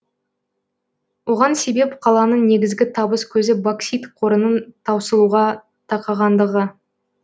оған себеп қаланың негізгі табыс көзі боксит қорының таусылуға тақағандығы